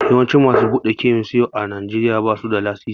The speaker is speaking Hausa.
Yawancin masu buɗe kemis yau a Najeriya ba su da lasisi.